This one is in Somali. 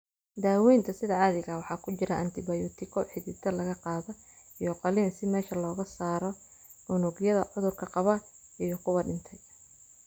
Daawaynta sida caadiga ah waxaa ku jira antibiyootiko xididada laga qaadaa iyo qalliin si meesha looga saaro unugyada cudurka qaba iyo kuwa dhintay.